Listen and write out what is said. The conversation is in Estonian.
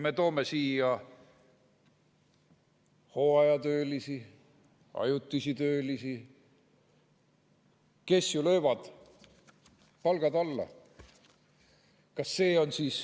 Me toome siia hooajatöölisi, ajutisi töölisi, kes löövad palgad alla.